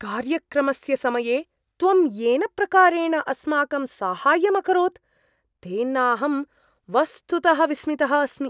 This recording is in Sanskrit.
कार्यक्रमस्य समये त्वं येन प्रकारेण अस्माकं साहाय्यं अकरोत्, तेनाहं वस्तुतः विस्मितः अस्मि।